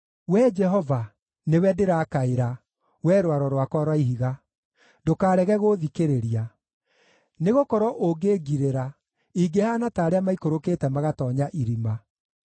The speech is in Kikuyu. Wee Jehova, nĩwe ndĩrakaĩra, Wee Rwaro rwakwa rwa Ihiga; ndũkarege gũũthikĩrĩria. Nĩgũkorwo ũngĩngirĩra, ingĩhaana ta arĩa maikũrũkĩte magatoonya irima.